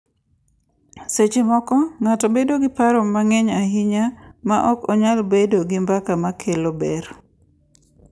Seche moko, ng’ato bedo gi paro mang’eny ahinya ma ok nyal bedo gi mbaka ma kelo ber.